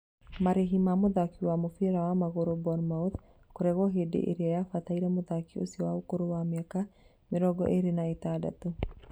Marĩhĩ ma mũthaki wa mũbĩra wa magũrũ Bournemouth kũregwo hĩndĩ ĩrĩa yabataire mũthaki ũcio wa ũkũrũ wa mĩaka mĩrongo ĩrĩ na ĩtandatû